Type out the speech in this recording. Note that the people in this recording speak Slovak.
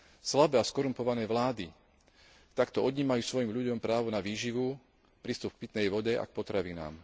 Slabé a skorumpované vlády takto odnímajú svojim ľuďom právo na výživu, prístup k pitnej vode a k potravinám.